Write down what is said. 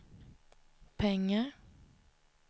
pengar